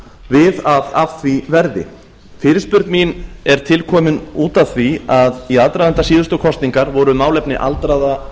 við að af því verði fyrirspurn mín er tilkomin út af því að í aðdraganda síðustu kosninga voru málefni aldraðra